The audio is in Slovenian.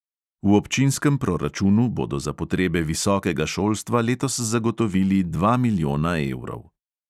V občinskem proračunu bodo za potrebe visokega šolstva letos zagotovili dva milijona evrov.